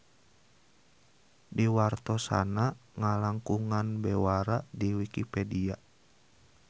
Diwartosanna ngalangkungan bewara di Wikipedia.